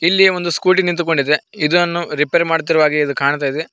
ಇಲ್ಲಿ ಒಂದು ಸ್ಕೂಟಿ ನಿಂತ್ಕೊಂಡಿದೆ ಇದನ್ನು ರಿಪೇರಿ ಮಾಡ್ತಿರೋ ಹಾಗೆ ಇದು ಕಾಣ್ತಾ ಇದೆ.